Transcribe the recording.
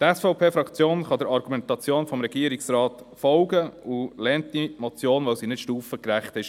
Die SVP-Fraktion kann der Argumentation des Regierungsrates folgen und lehnt die Motion ab, weil sie nicht stufengerecht ist.